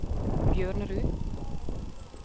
Bjørnerud